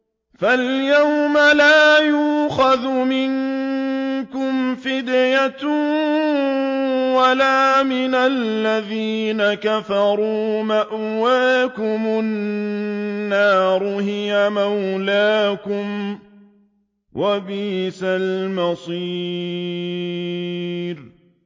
فَالْيَوْمَ لَا يُؤْخَذُ مِنكُمْ فِدْيَةٌ وَلَا مِنَ الَّذِينَ كَفَرُوا ۚ مَأْوَاكُمُ النَّارُ ۖ هِيَ مَوْلَاكُمْ ۖ وَبِئْسَ الْمَصِيرُ